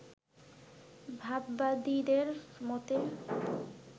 ভাববাদীদের মতে